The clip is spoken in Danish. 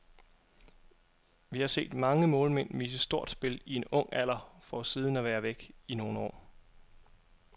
Vi har set mange målmænd vise stort spil i en ung alder for siden at være væk i nogle år.